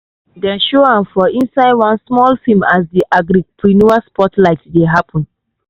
dem show am for inside one small film as di agripreneur spotlight dey happen.